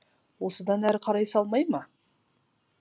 осыдан әрі қарай салмай ма